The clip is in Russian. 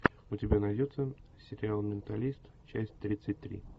у тебя найдется сериал менталист часть тридцать три